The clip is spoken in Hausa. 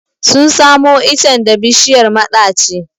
Sun samo icen da bishiyar maɗaci.